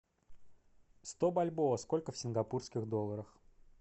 сто бальбоа сколько в сингапурских долларах